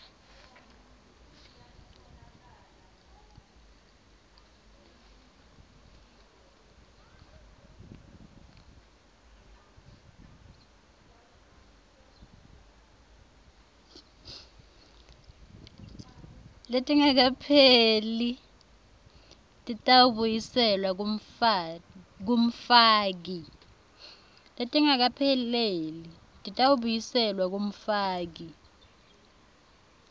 letingakapheleli titawubuyiselwa kumfaki